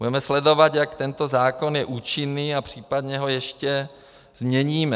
Budeme sledovat, jak tento zákon je účinný, a případně ho ještě změníme.